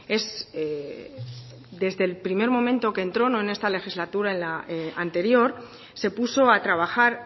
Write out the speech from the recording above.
es desde el primer momento que entró no en esta legislatura en la anterior se puso a trabajar